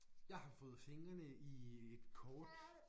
Jeg har fået fingrene i et kort